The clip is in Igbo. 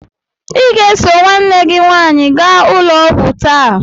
Ị ga-eso nwanne gị nwaanyị gaa ụlọ ọgwụ taa!